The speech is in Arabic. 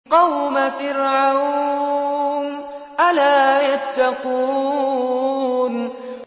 قَوْمَ فِرْعَوْنَ ۚ أَلَا يَتَّقُونَ